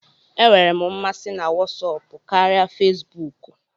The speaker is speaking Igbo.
E nwere m masị na Wọsọpu karịa Fezbuuku.